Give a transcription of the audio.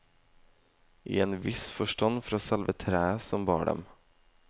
I en viss forstand fra selve treet som bar dem.